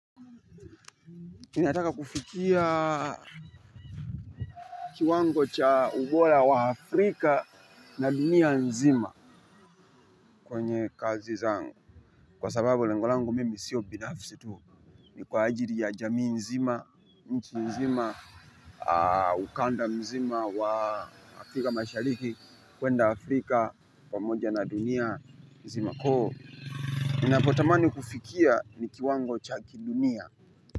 Kinataka kufikia kiwango cha ubora wa Afrika na dunia nzima kwenye kazi zangu. Kwa sababu lengo langu mimi sio binafsi tu ni kwa ajili ya jamii nzima, nchi nzima, ukanda nzima wa Afrika mashariki, kwenda Afrika, pamoja na dunia nzima. Ninapotamani kufikia ni kiwango cha kidunia.